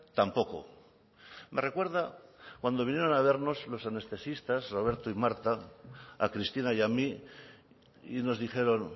tampoco me recuerda cuando vinieron a vernos los anestesistas roberto y marta a cristina y a mí y nos dijeron